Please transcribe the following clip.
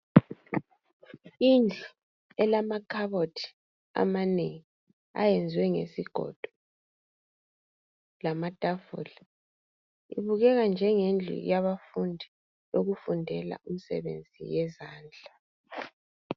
Indlu elamakhabothi amanengi ayenziwe ngesigodo lamatafula ibukeka njengendlu yabafundi yokufundela imsebenzi yezandla